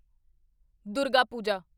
Durga Puja